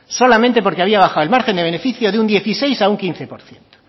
solamente porque había bajado el margen de beneficio de un dieciséis por ciento a un quince por ciento